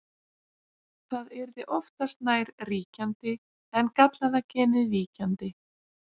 það yrði oftast nær ríkjandi en gallaða genið víkjandi